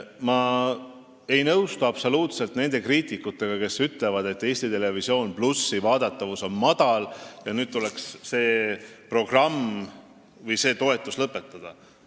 Ma ei nõustu absoluutselt nende kriitikutega, kes ütlevad, et ETV+ vaadatavus on väike ja see tuleks nüüd sulgeda või lõpetada selle toetamine.